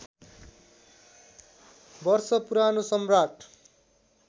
वर्ष पुरानो सम्राट